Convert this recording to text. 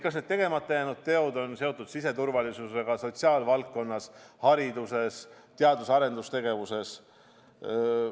Kas need tegemata jäänud teod on seotud siseturvalisusega, kas need on sotsiaalvaldkonnas, hariduses, teadus- ja arendustegevuses?